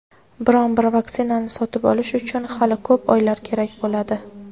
biron bir vaksinani sotib olish uchun "hali ko‘p oylar kerak bo‘ladi".